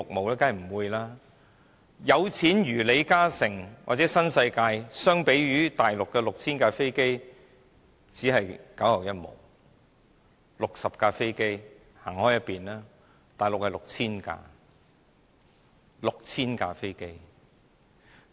當然不會多，有錢如李嘉誠或新世界發展有限公司，相比於大陸的 6,000 架飛機只是九牛一毛，有60架飛機的只能靠邊站，因為大陸有 6,000 架。